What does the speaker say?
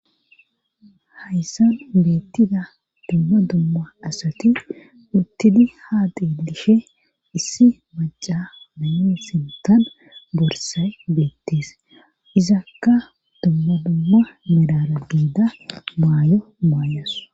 Hayssan beettida dumma dumma asati uttidi ha dielishe issi maca nayon sintan borsay beettees izakka dumma dumma mirara giida maayo maayos.